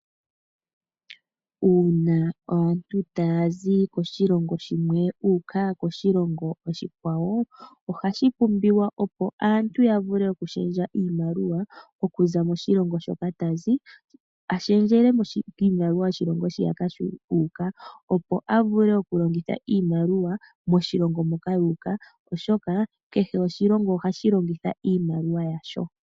Uuna aantu taya zi koshilongo shimwe yuuka koshilongo oshikwawo, ohashi pumbiwa opo aantu yavule okulundulula iimaliwa okuza moshilongo shoka tazi alundululile kiimaliwa yoshilongo shiyaka ahuka opo avule okulongitha iimaliwa moshilongo moka yuuka oshoka, kehe oshilongo ohashi longitha iimaliwa yasho.